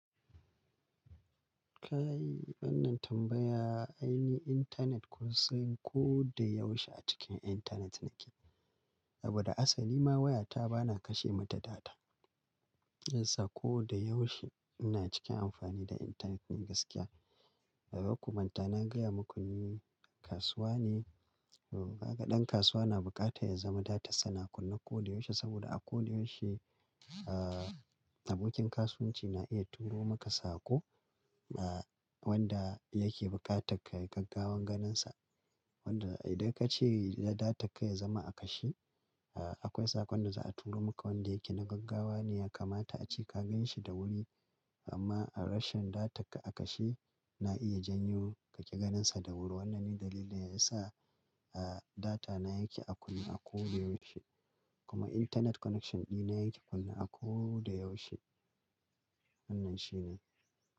Ka yi wannan tambaya, aini in intanet ku san ko da yaushe a cikin intanet nake. Saboda asali ma wayata ba na kashe mata data. Hiyasa ko da yaushe ina cikin amfani da intanet ne gaskiya. Dazaku manta na gaya muku ni kasuwa ne. Kaga ɗan kasuwa na bukata ya zama datan sa na kunne ko da yaushe saboda a ko da yaushe, ah abokin kasuwanci na iya turo maka sako ah wanda yake buƙatar kai gaggawan ganinsa. Wanda idan ka ce da data ka ya zama a kashe, ah akwai sakon da za a turo maka wanda yake na gaggawa ne ya kamata a ce ka ganshi da wuri. Amma a rashin data ka a kashe, na iya janyo ka ƙi ganinsa da wuri. Wannan ne dalilin da ya sa ah data na yake a kunne a ko da yaushe. Kuma internet connection ɗina yake kunne a ko da yaushe. Wannan shi ne.